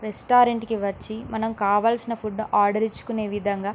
restaurant వచ్చి మనము కావాలసిన ఫ్యూడ్ ఆర్డర్ ఇచ్చికొనే విధంగా --